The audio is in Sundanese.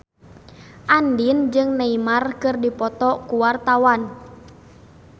Andien jeung Neymar keur dipoto ku wartawan